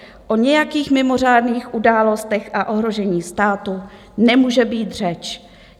O nějakých mimořádných událostech a ohrožení státu nemůže být řeč.